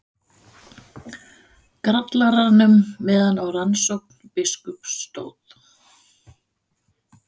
Grallaranum meðan á rannsókn biskups stóð.